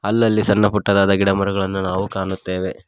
ಅಲ್ಲಲ್ಲಿ ಸಣ್ಣ ಪುಟ್ಟದಾದ ಗಿಡಮರಗಳನ್ನು ನಾವು ಕಾಣುತ್ತೇವೆ.